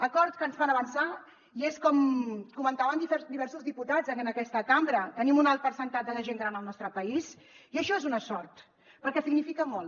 acords que ens fan avançar i és com comentaven diversos diputats en aquesta cambra tenim un alt percentatge de gent gran al nostre país i això és una sort perquè significa molt